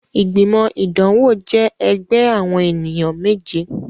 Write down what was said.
Igbimọ idanwo jẹ ẹgbẹ awọn eniyan meje